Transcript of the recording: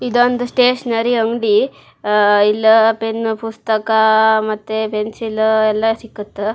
ಇದೊಂದು ಸ್ಟೇಷನರಿ ಅಂಗಡಿ ಅಹ್ ಇಲ್ಲ ಪೆನ್ ಪುಸ್ತಕ ಮತ್ತೆ ಪೆನ್ಸಿಲ್ ಎಲ್ಲಾ ಸಿಕ್ಕುತ.